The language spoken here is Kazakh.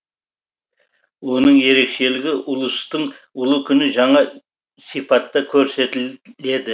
оның ерекшелігі ұлыстың ұлы күні жаңа сипатта көрсетіледі